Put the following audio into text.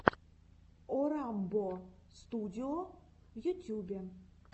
орамбо студио в ютюбе